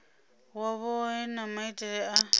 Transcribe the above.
wa vhohe na maitele a